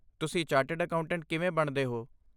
ਤੁਸੀਂ chartered accountant ਕਿਵੇਂ ਬਣਦੇ ਹੋ?